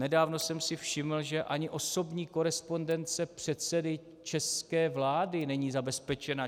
Nedávno jsem si všiml, že ani osobní korespondence předsedy české vlády není zabezpečena.